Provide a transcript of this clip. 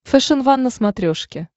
фэшен ван на смотрешке